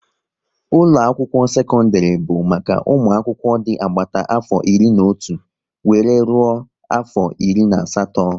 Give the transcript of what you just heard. Ụlọ akwụkwọ sekọndrị bụ maka ụmụ akwụkwọ dị agbata afọ iri na otu wéré rụọ afọ iri na asatọ